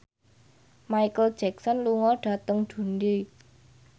Micheal Jackson lunga dhateng Dundee